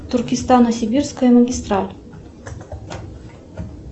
туркистано сибирская магистраль